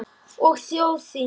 Og þjóð þína.